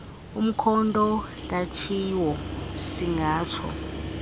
umkhonto katshiwo siingatsho